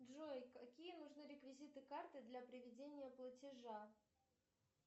джой какие нужны реквизиты карты для проведения платежа